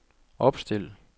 opstil